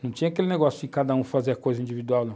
Não tinha aquele negócio de cada um fazer a coisa individual, não.